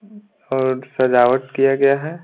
और सजावट किया गया है।